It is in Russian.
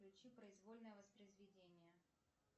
включи произвольное воспроизведение